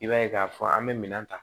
I b'a ye k'a fɔ an bɛ minɛn ta